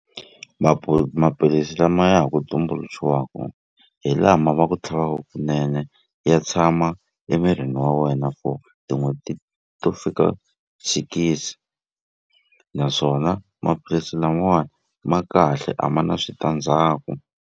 maphilisi lama ya ha ku tumbuluxiwaku hi lama va ku tlhavaka kunene ya tshama emirini wa wena for tin'hweti to fika sikisi naswona maphilisi lamawani ma kahle a ma na switandzhaku.